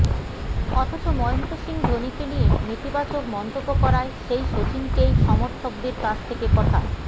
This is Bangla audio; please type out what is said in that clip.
অথচ মহেন্দ্র সিং ধোনিকে নিয়ে নেতিবাচক মন্তব্য করায় সেই শচীনকেই সমর্থকদের কাছ থেকে কথা